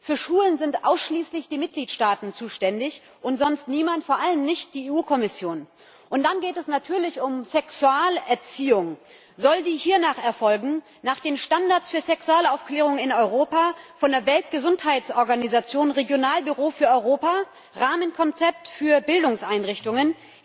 Für Schulen sind ausschließlich die Mitgliedstaaten zuständig und sonst niemand, vor allem nicht die EU Kommission! Und dann geht es natürlich um Sexualerziehung. Soll die hiernach erfolgen, nach den Standards der Sexualaufklärung in Europa, von der Weltgesundheitsorganisation, Regionalbüro für Europa, Rahmenkonzept für Bildungseinrichtungen?